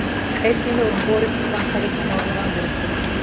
Einnig hefur hún borist til Bandaríkja Norður-Ameríku.